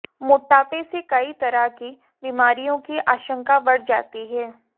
मोटापे से कई तरह की बीमारियों की आशंका बढ़ जाती है